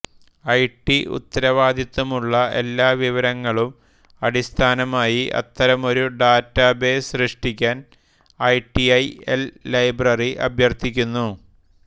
IT ഉത്തരവാദിത്തമുള്ള എല്ലാ വിവരങ്ങൾക്കും അടിസ്ഥാനമായി അത്തരമൊരു ഡാറ്റാബേസ് സൃഷ്ടിക്കാൻ ഐടിഐഎൽ ലൈബ്രറി അഭ്യർത്ഥിക്കുന്നു